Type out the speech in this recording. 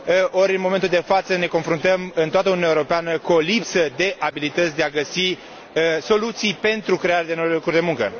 Ori, în momentul de față ne confruntăm în toată Uniunea Europeană cu o lipsă de abilități de a găsi soluții pentru crearea de noi locuri de muncă.